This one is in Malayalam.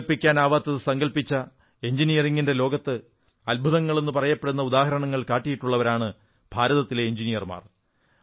സങ്കല്പിക്കാനാവാത്തതു സങ്കല്പിച്ച എഞ്ചിനീയറിംഗിന്റെ ലോകത്ത് അദ്ഭുതങ്ങളെന്നു പറയപ്പെടുന്ന ഉദാഹരണങ്ങൾ കാട്ടിയിട്ടുള്ളവരാണ് ഭാരതത്തിലെ എഞ്ചിനീയർമാർ